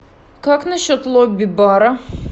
как насчет лобби бара